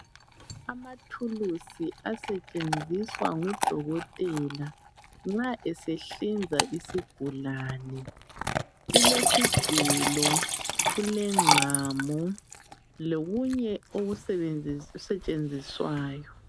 Amathulusi asetshenziswa ngudokotela nxa esehlinza isigulane. Kukesigelo, kulengqamu, lokunye okusetshenziswayo.